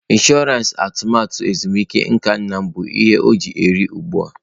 Ịnshọransị atụmatụ ezumike nka nna m bụ ihe ọ ji na eri ugbu a.